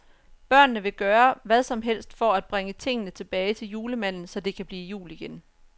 Børnene vil gøre hvad som helst for at bringe tingene tilbage til julemanden, så det kan blive jul igen.